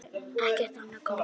Ekkert annað komst að.